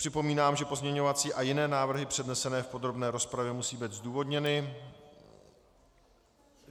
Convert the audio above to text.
Připomínám, že pozměňovací a jiné návrhy přednesené v podrobné rozpravě musí být zdůvodněny.